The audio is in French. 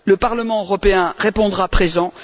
Le Parlement européen répondra présent.